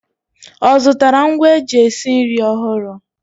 Ọ zụtara ngwa eji esi nri ọhụrụ?